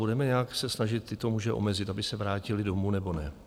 Budeme nějak se snažit tyto muže omezit, aby se vrátili domů, nebo ne?